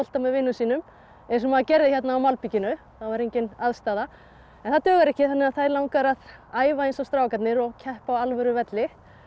með vinum sínum eins og maður gerði hérna á malbikinu það var engin aðstaða en það dugar ekki þær langar að æfa eins og strákarnir og keppa á alvöru velli